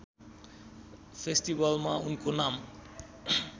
फेस्टिभलमा उनको नाम